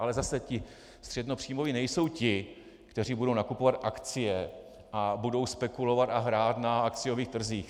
Ale zase ti středněpříjmoví nejsou ti, kteří budou nakupovat akcie a budou spekulovat a hrát na akciových trzích.